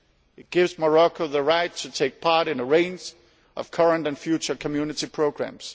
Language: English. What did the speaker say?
It gives Morocco the right to take part in a range of current and future Community programmes.